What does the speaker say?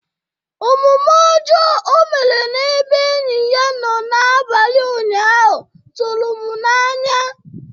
Omume ọjọọ o mere n'ebe enyi ya nọ n'abalị ụnyaahụ tụrụ m n'anya